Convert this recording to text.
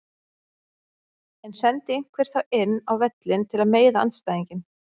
En sendi einhver þá inn á völlinn til að meiða andstæðinginn?